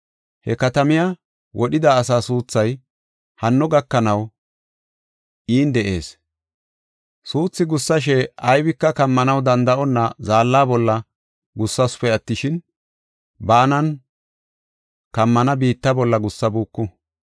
He katamay wodhida asaa suuthay hanno gakanaw in de7ees. Suuthi gussashe, aybika kammonna danda7onna zaalla bolla gussasupe attishin, baanan kammana biitta bolla gussabuuku.